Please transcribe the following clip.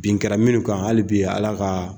Bin kɛra minnu kan hali bi ala ka